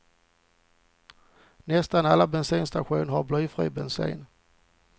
Nästan alla bensinstationer har blyfri bensin.